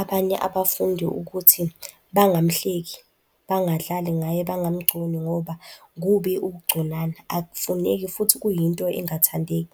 abanye abafundi ukuthi bangamhleki, bangadlali ngaye, bangamgconi ngoba kubi ungconana, akufuneki futhi kuyinto engathandeki.